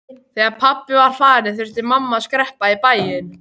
Þegar pabbi var farinn þurfti mamma að skreppa í bæinn.